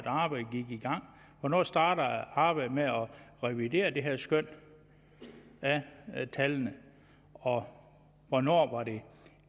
gang hvornår startede arbejdet med at revidere det her skøn af tallene og hvornår var det